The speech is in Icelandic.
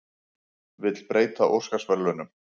Vill breyta Óskarsverðlaununum